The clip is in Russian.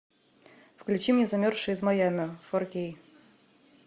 включи мне замерзшая из майами фор кей